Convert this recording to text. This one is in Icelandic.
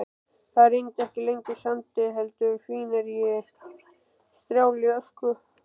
Það rigndi ekki lengur sandi heldur fíngerðri strjálli ösku.